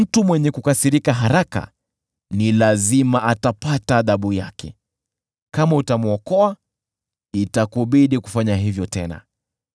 Mtu mwenye kukasirika haraka ni lazima atapata adhabu yake, kama utamwokoa, itakubidi kufanya hivyo tena.